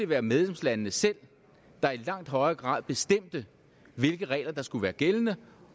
være medlemslandene selv der i langt højere grad bestemte hvilke regler der skulle være gældende